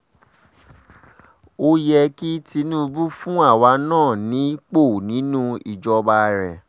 ó yẹ kí tinúbù fún àwa náà nípò nínú ìjọba rẹ̀